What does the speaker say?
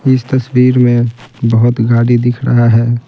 इस तस्वीर में बहुत गाड़ी दिख रहा है।